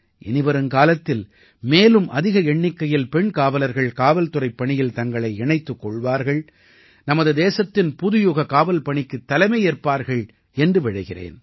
இனிவருங்காலத்தில் மேலும் அதிக எண்ணிக்கையில் பெண் காவலர்கள் காவல்துறைப் பணியில் தங்களை இணைத்துக் கொள்வார்கள் நமது தேசத்தின் புதுயுக காவல் பணிக்குத் தலைமை ஏற்பார்கள் என்று விழைகிறேன்